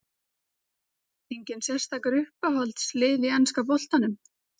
Enginn sérstakur Uppáhalds lið í enska boltanum?